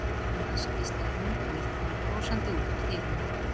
Njóttu hans, hvíslaði hún og ýtti mér brosandi út úr dyrunum.